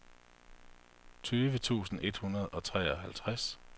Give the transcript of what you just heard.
tyve tusind et hundrede og treoghalvtreds